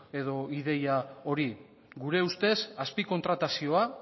edo ideia hori gure ustez azpi kontratazioa